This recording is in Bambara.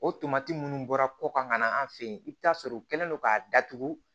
O tomati minnu bɔra kɔ kan ka na an fɛ yen i bɛ taa sɔrɔ u kɛlen do k'a datugu